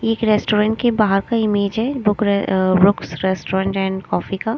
एक रेस्टोरेंट के बाहर का इमेज है बुक रे uh Brooks restaurant and coffee का।